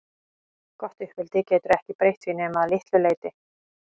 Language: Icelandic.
Gott uppeldi getur ekki breytt því nema að litlu leyti.